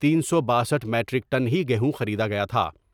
تین سو باسٹھ میٹریک ٹن ہی گیہوں خریدا گیا تھا ۔